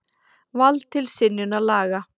Vald til synjunar laga.